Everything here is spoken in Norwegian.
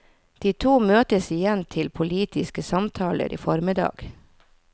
De to møtes igjen til politiske samtaler i formiddag.